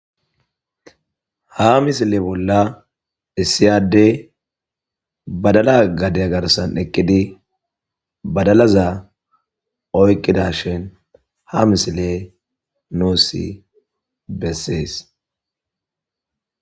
Ha misile bolla issiyadey badala gadey garsan eqqidi badalaza oykqida shin ha misile nuusi bessees